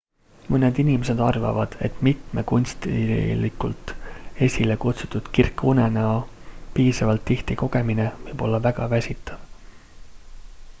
mõned inimesed arvavad et mitme kunstlikult esilekutsutud kirka unenäo piisavalt tihti kogemine võib olla väga väsitav